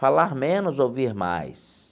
Falar menos, ouvir mais.